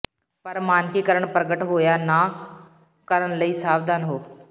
ਪਰ ਮਾਨਕੀਕਰਣ ਪ੍ਰਗਟ ਹੋਇਆ ਨਾ ਕਰਨ ਲਈ ਸਾਵਧਾਨ ਹੋ